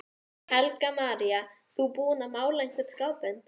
Ég fann það svo greinilega þegar lokakeppnin var.